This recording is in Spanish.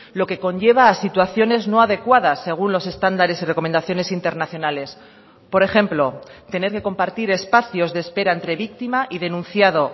lo que conlleva a situaciones no adecuadas según los estándares y recomendaciones internacionales por ejemplo tener que compartir espacios de espera entre víctima y denunciado